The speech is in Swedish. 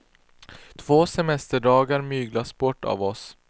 Två semesterdagar myglas bort för oss.